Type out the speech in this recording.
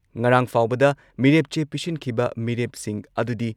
ꯉꯔꯥꯥꯡ ꯐꯥꯎꯕꯗ ꯃꯤꯔꯦꯞ ꯆꯦ ꯄꯤꯁꯤꯟꯈꯤꯕ ꯃꯤꯔꯦꯞꯁꯤꯡ ꯑꯗꯨꯗꯤ